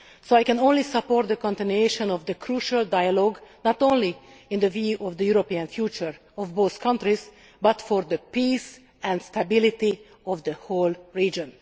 So I can only support the continuation of this crucial dialogue, not only with a view to the European future of both countries but also for the peace and stability of the whole region.